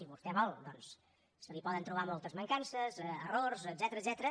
si vostè ho vol doncs se li poden trobar moltes mancances errors etcètera